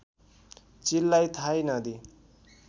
चिललाई थाहै नदिई